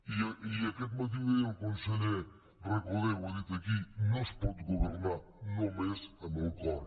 i aquest matí ho deia el conseller recoder ho ha dit aquí no es pot governar només amb el cor